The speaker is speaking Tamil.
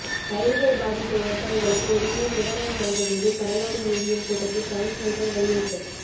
பயிர்கள் பாதித்த விவசாயிகளுக்கு உடனே நிவாரணம் வழங்க வேண்டும் கடலாடி யூனியன் கூட்டத்தில் கவுன்சிலர்கள் வலியுறுத்தல்